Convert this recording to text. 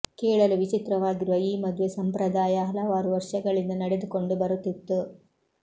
ಕೇಳಲು ವಿಚಿತ್ರವಾಗಿರುವ ಈ ಮದುವೆ ಸಂಪ್ರದಾಯ ಹಲವಾರು ವರ್ಷಗಳಿಂದ ನಡೆದುಕೊಂಡು ಬರುತ್ತಿತ್ತು